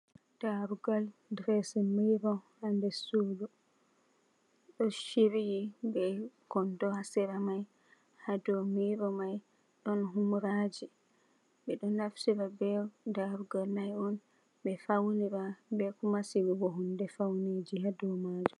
Ɗarugal, ɗiresin mirro ha nɗer suɗu. Ɗo shirye be kondo ha sera mai. Ha ɗow mirro mai ɗon humraji. Beɗo naftira be ɗarugal mai on be faunira, be kuma sigugo hunɗe faune ji ha ɗow majum.